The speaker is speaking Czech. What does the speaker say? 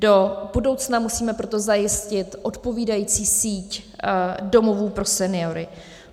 Do budoucna musíme proto zajistit odpovídající síť domovů pro seniory.